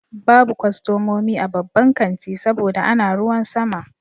Babu kwastomomi a babban kanti saboda ana ruwan sama.